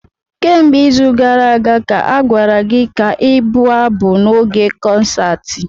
Kemgbe izu gara aga ka a gwara gị ka ị bụ abụ n'oge konsaatị.